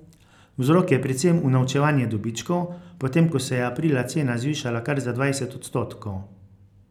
Vzrok je predvsem unovčevanje dobičkov, potem ko se je aprila cena zvišala kar za dvajset odstotkov.